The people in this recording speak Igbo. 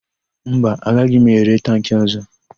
Mba, agaghị m ere tankị ọ̀zọ́.